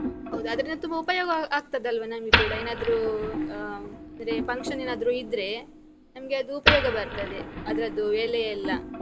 ಹೌದು, ಅದರಿಂದ ತುಂಬ ಉಪಯೋಗ ಆಗ್ತದಲ್ವ ನಮ್ಗೆ ಕೂಡ ಏನಾದ್ರೂ ಆ, ಅದೇ function ಏನಾದ್ರೂ ಇದ್ರೆ ನಮ್ಗೆ ಅದು ಉಪಯೋಗ ಬರ್ತದೆ, ಅದ್ರದ್ದು ಎಲೆಯೆಲ್ಲ.